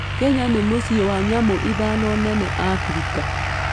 Kenya nĩ mũciĩ wa nyamũ ithano nene Abirika.